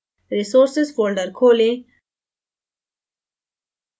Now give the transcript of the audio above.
resources folder खोलें